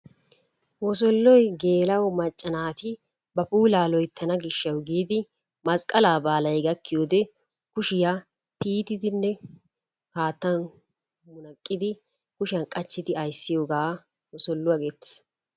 Wosolloy geela'o macca naati ba puulaa loyittana gishshawu giidi masqqalaa baalay gaakkiyode kushiya tiyettidinne haattan munaqqidi kushiyan qachchidi ayissiyogaa wosolluwa geettes.